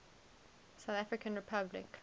south african republic